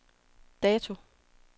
dato